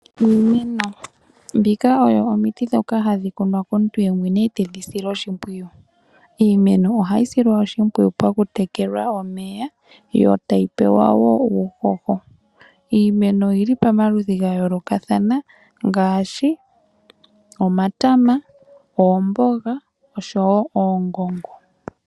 Iimeno oyo omiti dhoka hadhi kunwa komuntu ye mwene, ye tedhi sile oshimpwiyu. Iimeno ohayi silwa oshipwiyu pakutekelwa omeya, yo tayi pewa wo uuhoho. Iimeno oyi li pomaludhi ga yoolokathana ngaashi omatama, oomboga oshowo oongongo.